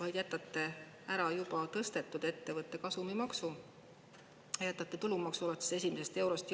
Te jätate ära juba ettevõtte kasumimaksu ja jätate jõustamata tulumaksu alates esimesest eurost.